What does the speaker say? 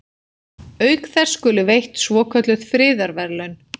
Auk þess skulu veitt svokölluð friðarverðlaun.